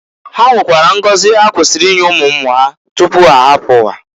Ha nwekwara ngozi ha kwesiri inye umu umu ha tupu h'arapụ ụwa.